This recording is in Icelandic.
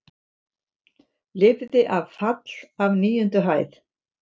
Lifði af fall af níundu hæð